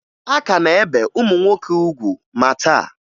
A ka na-ebe ụmụ nwoke ugwu ma taa